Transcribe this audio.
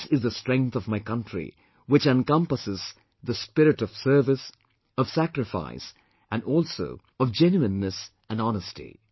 This is the strength of my country which encompasses the spirit of service, of sacrifice and also of genuineness and honesty